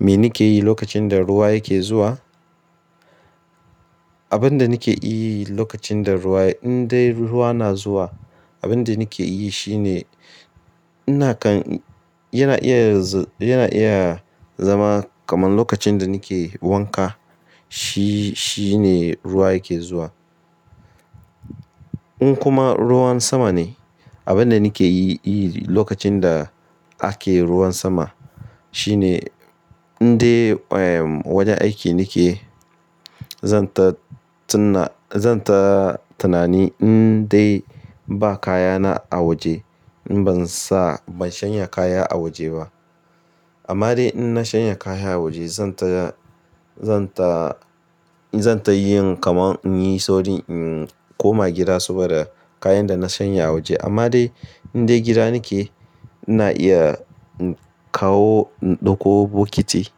Me nike yi lokacin da ruwa yake zuwa? Abin da nike iyi lokacin da ruwa, in dai ruwa na zuwa, abin da nike yi shine, yana iya yana iya zama kaman lokacin da nike wanka. Shi, shine ruwa yake zuwa. In kuma ruwan sama ne, abin da nike yi lokacin da ake ruwan sama shine in dai wajen aiki nike, zan ta, zan ta tanani in dai ba kayana a waje, in ban sa, ban shanye kaya a waje ba. Amma dai in na shanya kaya a waje zan ta, zan ta, zan ta yin kamar in yi saurin in koma gida saboda kayan da na shanya a waje. Amma dai in dai gida nike, ina iya inkawo, inɗauko bokiti.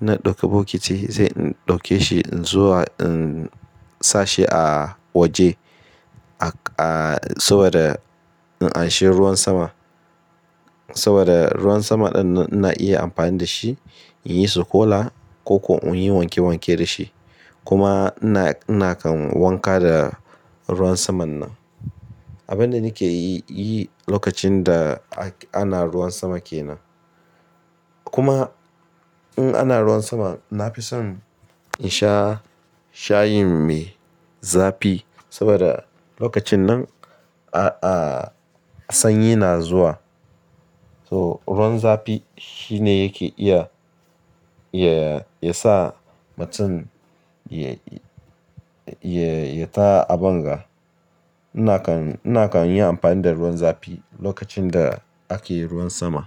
Na ɗauki bokiti zai ɗauke shi zuwa in sa shi a waje saboda in an shi ruwan sama. Saboda ruwan sama ɗin ina iya amfani da shi, in yi sukola ko koko in yi wanke wanke da shi. Kuma na, nakan wanka da ruwan saman nan. Abin da nike yi lokacin da ana ruwan sama kenan. Kuma in ana ruwan sama, na fi son in sha shayin me zafi saboda lokacin nan sanyi na zuwa. So ruwan zafi shine yake iya ya sa mutum ya, ya ta abinga. Nakan, nakan yi amfani da ruwan zafi lokacin da ake ruwan sama.